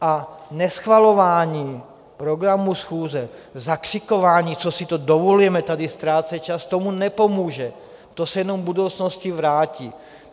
A neschvalování programu schůze, zakřikování, co si to dovolujeme, tady ztrácet čas, tomu nepomůže, to se jenom v budoucnosti vrátí.